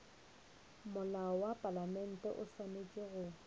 molao wa palamente o swanetše